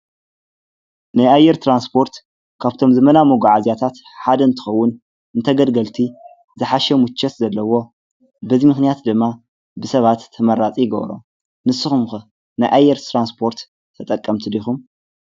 ንይኣየር ተራንስጶርት ካብቶም ዝመና መጕዓ ዚያታት ሓደ እንትኸውን እንተ ገድገልቲ ዝሓሸ ሙቾት ዘለዎ በዙይ ምኽንያት ድማ ብሰባት ተመራጽ ይገብሮ ንስኹምክ ንይኣይር ተራንስጶርት ተጠቀምቲዶኹም።